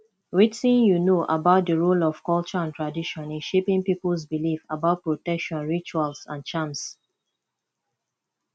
wetin you know about di role of culture and tradition in shaping peoples beliefs about protection rituals and charms